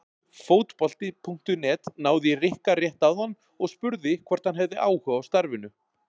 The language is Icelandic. Fótbolti.net náði í Rikka rétt áðan og spurði hvort hann hefði áhuga á starfinu?